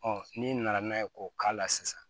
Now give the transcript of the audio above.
n'i nana n'a ye k'o k'a la sisan